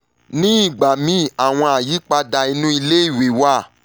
nígbà míì àwọn àyípadà inú iléèwé wà